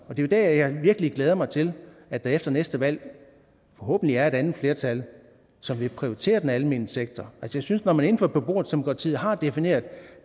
er jo der jeg virkelig glæder mig til at der efter næste valg forhåbentlig er et andet flertal som vil prioritere den almene sektor jeg synes at når man inden for beboerdemokratiet har defineret at